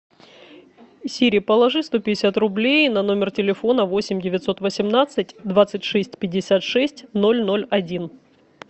сири положи сто пятьдесят рублей на номер телефона восемь девятьсот восемнадцать двадцать шесть пятьдесят шесть ноль ноль один